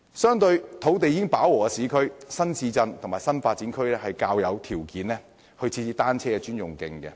相對土地已飽和的市區，新市鎮和新發展區較有條件設置單車專用徑。